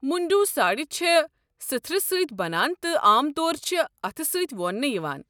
مُنٛڈوٗ ساڑِ چھِ سٕتھرٕ سۭتۍ بَنان تہٕ عام طور چھِ اتھہٕ سۭتۍ ووننہٕ یِوان۔